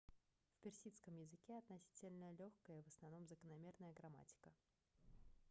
в персидском языке относительно лёгкая и в основном закономерная грамматика